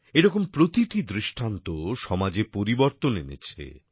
এইরূপ প্রতিটি দৃষ্টান্ত সমাজে পরিবর্তন এনেছে